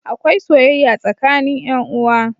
Akwai soyayya tsakanin yan uwa.